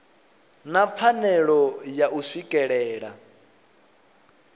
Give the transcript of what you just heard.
na pfanelo ya u swikelela